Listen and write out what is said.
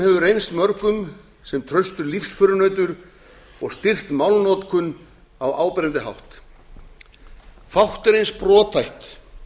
hefur reynst mörgum sem traustur lífsförunautur og styrkt málnotkun á áberandi hátt fátt er eins brothætt